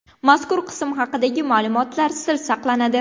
Mazkur qism haqidagi ma’lumotlar sir saqlanadi.